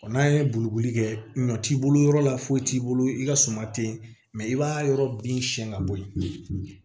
n'a ye boli kɛ ɲɔ t'i bolo yɔrɔ la foyi t'i bolo i ka suma tɛ ye i b'a yɔrɔ bin siɲɛ ka bɔ yen